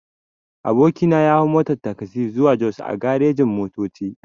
Aboki na ya hau motan tagzi zuwa jos a garejin-motoci.